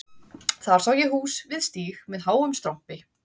Þar sá ég hús við stíg með háum strompi